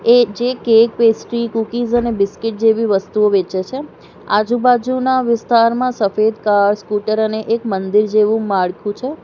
એ જે cake pastry cookies અને biscuit જેવી વસ્તુઓ વેચે છે આજુબાજુનાં વિસ્તારમાં સફેદ કાર સ્કૂટર અને એક મંદિર જેવું માળખું છે.